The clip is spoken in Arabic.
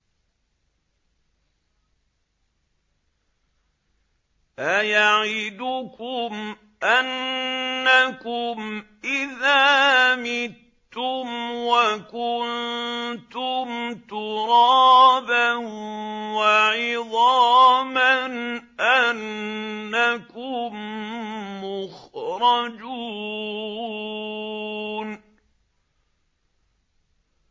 أَيَعِدُكُمْ أَنَّكُمْ إِذَا مِتُّمْ وَكُنتُمْ تُرَابًا وَعِظَامًا أَنَّكُم مُّخْرَجُونَ